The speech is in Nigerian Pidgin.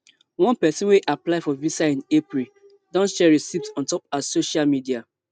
one pesin wey apply for visa in april don share receipts on top her social media